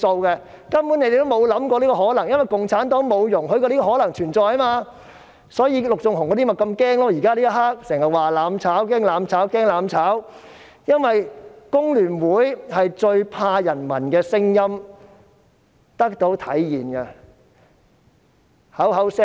他們根本無法想象這個可能性，因為共產黨不容許這個可能性存在，所以陸頌雄議員那些人現時便這麼害怕，經常說害怕"攬炒"，因為工聯會最怕人民的聲音得到體現。